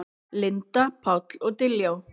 Linda, Páll og Diljá.